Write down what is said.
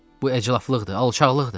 Bu əclafçılıqdır, alçaqlıqdır.